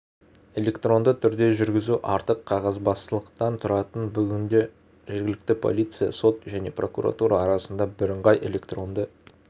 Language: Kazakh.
электронды түрде жүргізу артық қағазбастылықтан құтқарады бүгінде жергілікті полиция сот және прокуратура арасында бірыңғай электронды